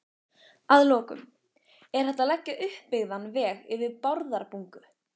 Að lokum: Er hægt að leggja uppbyggðan veg yfir Bárðarbungu?